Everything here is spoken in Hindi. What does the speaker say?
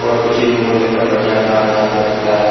और उचित मूल्य पर बढ़िया काम यहाँ पे होता है।